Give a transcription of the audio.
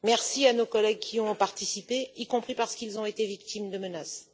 Merci à nos collègues qui y ont participé, y compris parce qu'ils ont été victimes de menaces.